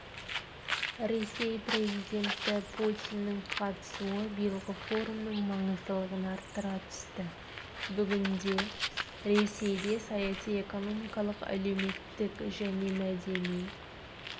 ресей президенті путиннің қатысуы биылғы форумның маңыздылығын арттыра түсті бүгінде ресейде саяси экономикалық әлеуметтік және мәдени